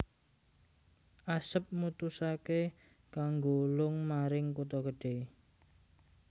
Asep mutusaké kanggo lung maring kutha gedhe